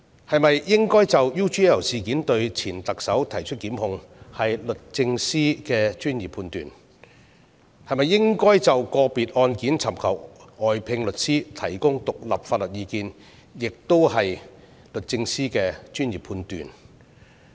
是否應就 UGL 事件向前特首提出檢控，是律政司的專業判斷，是否應就個別案件尋求外聘律師提供獨立法律意見，也是律政司的專業判斷。